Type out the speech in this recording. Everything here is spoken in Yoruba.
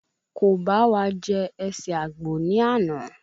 Ko bá wa jẹ ẹsẹ àgbò ni ana